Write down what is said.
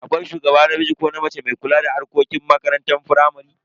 Akwai shugaba namiji ko mace mai kula da harkokin makarantar firamare.